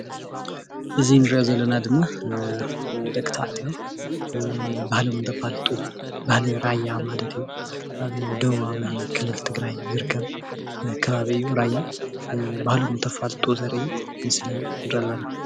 እዚ እንሪኦ ዘለና ደቂ ተባዕትዮ ባህሎም እንተፋልጡ ባህሊ ራያ ማለት እዩ። ኣብ ደብባዊ ክልል ትግራይ ዝርከብ ከባቢ ዝርከብ እዩ ራያ ባህሎም አንተፋልጡ ዘርኢ ምስሊ ንርኢ ኣለና።